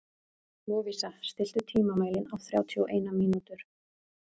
Lovísa, stilltu tímamælinn á þrjátíu og eina mínútur.